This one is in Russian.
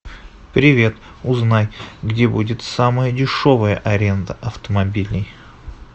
привет узнай где будет самая дешевая аренда автомобилей